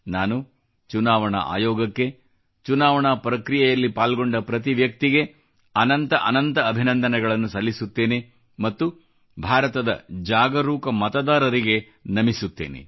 ನಾನು ಚುನಾವಣಾ ಆಯೋಗಕ್ಕೆ ಚುನಾವಣಾ ಪ್ರಕ್ರಿಯೆಯಲ್ಲಿ ಪಾಲ್ಗೊಂಡ ಪ್ರತಿ ವ್ಯಕ್ತಿಗೆ ಅನಂತ ಅನಂತ ಅಭಿನಂದನೆಗಳನ್ನು ಸಲ್ಲಿಸುತ್ತೇನೆ ಮತ್ತು ಭಾರತದ ಜಾಗರೂಕ ಮತದಾರರಿಗೆ ನಮಿಸುತ್ತೇನೆ